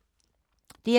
DR2